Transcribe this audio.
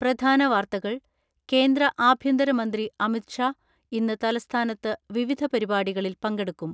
പ്രധാന വാർത്തകൾ കേന്ദ്ര ആഭ്യന്തരമന്ത്രി അമിത് ഷാ ഇന്ന് തലസ്ഥാനത്ത് വിവിധപരിപാടികളിൽ പങ്കെടുക്കും.